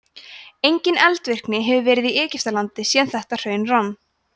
engin eldvirkni hefur verið í egyptalandi síðan þetta hraun rann